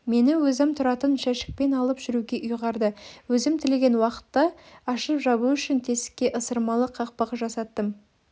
мені өзім тұратын жәшікпен алып жүруге ұйғарды өзім тілеген уақытта ашып-жабу үшін тесікке ысырылмалы қақпақ жасаттым